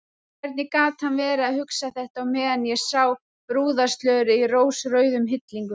Hvernig gat hann verið að hugsa þetta á meðan ég sá brúðarslörið í rósrauðum hillingum!